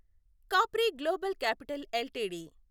Capri Global Capital LTD